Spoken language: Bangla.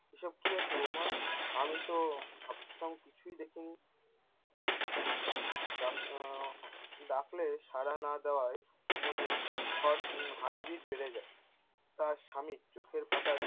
এইসব কী হচ্ছে বৌমা? আমি তো কিছুই দেখিনি! ডাক~ আহ ডাকলে সারা না দেওয়ায় মতো heart beat বেড়ে যায়। তার সামীর চোখের পাতায়-